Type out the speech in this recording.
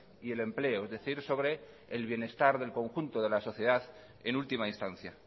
y del empleo es decir sobre el bienestar del conjunto de la sociedad en última instancia